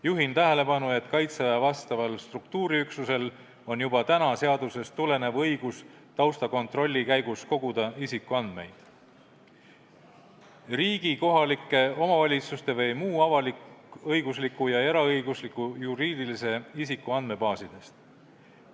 Juhin tähelepanu, et Kaitseväe vastaval struktuuriüksusel on juba praegu seadusest tulenev õigus taustakontrolli käigus koguda isikuandmeid riigi, kohalike omavalitsuste või muu avalik-õigusliku ja ka eraõigusliku juriidilise isiku andmebaasidest.